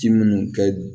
Ji munnu kɛ